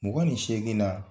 Mugan ni seegin na.